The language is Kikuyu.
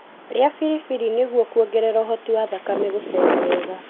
Ria biribiri nĩgũo kuongerera ũhoti wa thakame gũcera wega.